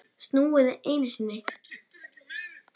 Snúið einu sinni.